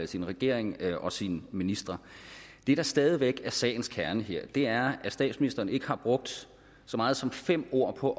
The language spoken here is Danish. sin regering og sine ministre det der stadig væk er sagens kerne her er at statsministeren ikke har brugt så meget som fem ord på